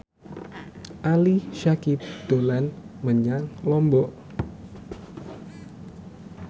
Ali Syakieb dolan menyang Lombok